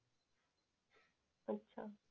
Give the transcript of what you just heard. अच्छा